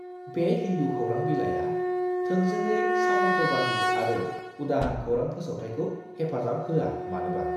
बे हिन्दु खौरां बिलाइआ थोंजोङै सामन्तबादी आरो उदां खौरां फोसावथायखौ हेफाजाब होआ मानोबा!